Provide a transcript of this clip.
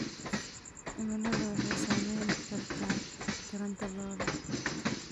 Cimiladu waxay saameyn kartaa taranta lo'da.